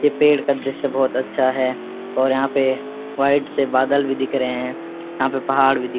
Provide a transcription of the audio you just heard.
ये पेड़ का दृश्‍य बहोत अच्‍छा है और यहाँ पे व्‍हाईट से बादल भी दिख रहे हैं यहाँ पे पहाड़ भी दिख --